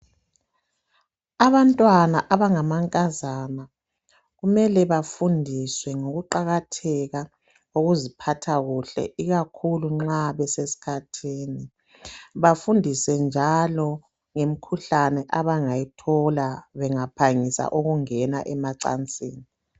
Abantwana abangamankazana kumele bafundiswe ngokuqakatheka kokuziphatha kuhle ikakhulu nxa besesikhathini, bafundiswe njalo ngemkhuhlane abangayithola bengaphangisa ukungena emacansini.